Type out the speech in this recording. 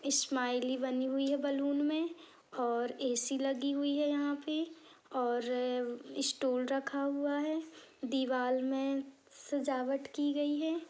Smiley बनी हुई है बलून में और ऐ_सी लगी हुयी है यहाँ पे और स्टूल रखा हुआ है। दीवाल (दीवा में सजावट की गयी है।